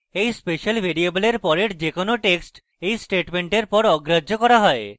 এটি special ভ্যারিয়েবলের পরের যে কোনো text এই স্টেটমেন্টের পর অগ্রাহ্য করা হয়